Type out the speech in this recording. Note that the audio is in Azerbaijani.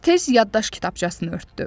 Tez yaddaş kitabçasını örtdü.